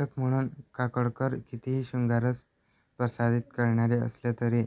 लेखक म्हणून काकोडकर कितीही शृंगाररस प्रसारित करणारे असले तरी